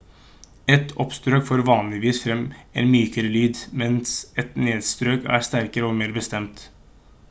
et oppstrøk får vanligvis frem en mykere lyd mens et nedstrøk er sterkere og mer bestemt